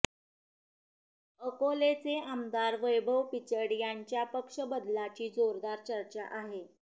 अकोलेचे आमदार वैभव पिचड यांच्या पक्ष बदलाची जोरदार चर्चा आहे